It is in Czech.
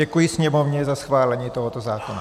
Děkuji Sněmovně za schválení tohoto zákona.